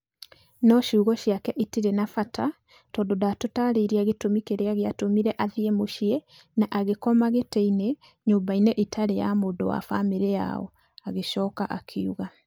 "No ciugo ciake itirĩ na bata tondũ ndatũtaarĩirie gĩtũmi kĩrĩa gĩatũmire athiĩ mũciĩ na agĩkoma gĩtĩ-inĩ nyũmba-inĩ ĩtarĩ ya mũndũ wa famĩlĩ yao", agĩcoka akiuga.